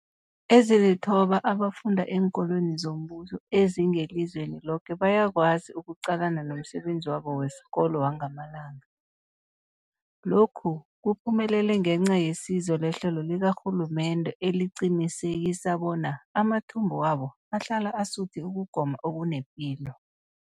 Ezilithoba abafunda eenkolweni zombuso ezingelizweni loke bayakwazi ukuqalana nomsebenzi wabo wesikolo wangamalanga. Lokhu kuphumelele ngenca yesizo lehlelo likarhulumende eliqinisekisa bona amathumbu wabo ahlala asuthi ukugoma okunepilo.